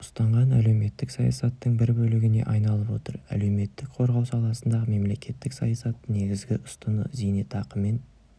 ұстанған әлеуметтік саясаттың бір бөлігіне айналып отыр әлеуметтік қорғау саласындағы мемлекеттік саясаттың негізгі ұстыны зейнетақымен